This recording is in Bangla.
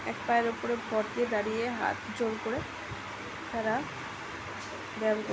এক পায়ের উপরে ভর দিয়ে দাঁড়িয়ে হাত জোর করে তারা ব্যাম কর --